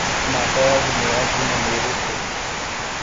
Namba ya thimũ ya Juma nĩ ĩrĩkũ?